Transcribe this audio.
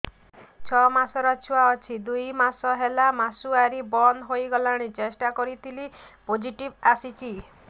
ଛଅ ମାସର ଛୁଆ ଅଛି ଦୁଇ ମାସ ହେଲା ମାସୁଆରି ବନ୍ଦ ହେଇଗଲାଣି ଟେଷ୍ଟ କରିଥିଲି ପୋଜିଟିଭ ଆସିଛି